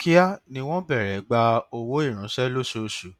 kíá ni wọn bẹrẹ gba owó ìránṣẹ lóṣooṣù